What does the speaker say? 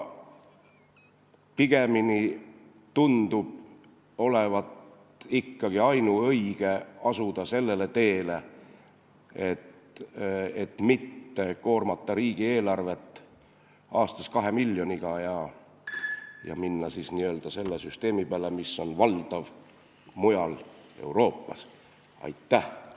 Pigemini tundub olevat ainuõige asuda ikkagi sellele teele, mis ei koorma riigieelarvet aastas kahe miljoniga, ja minna siis selle süsteemi peale, mis mujal Euroopas on valdav.